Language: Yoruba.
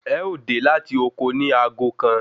Ẹ ó dè láti oko ni aago kan